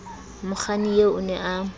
mokganni eo o ne a